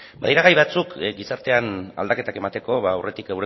badira gai batzuk gizartean aldaketak emateko aurretik